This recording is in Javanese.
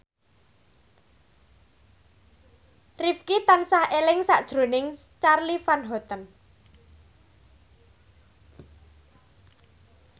Rifqi tansah eling sakjroning Charly Van Houten